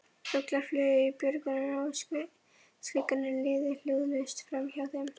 Fuglar flugu í björgunum og skuggarnir liðu hljóðlaust framhjá þeim.